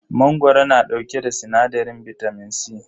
Mangoro na dauke da sinadarin bitamin C.